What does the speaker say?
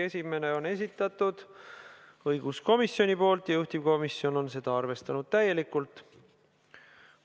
Esimese on esitanud õiguskomisjon ja juhtivkomisjon on seda täielikult arvestanud.